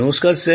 নমস্কার